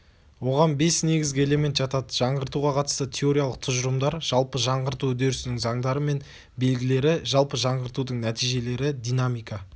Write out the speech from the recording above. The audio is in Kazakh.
оған бес негізгі элемент жатады жаңғыртуға қатысты теориялық тұжырымдар жалпы жаңғырту үдерісінің заңдары мен белгілері жалпы жаңғыртудың нәтижелері динамика